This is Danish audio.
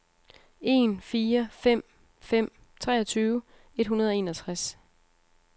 en fire fem fem treogtyve et hundrede og enogtres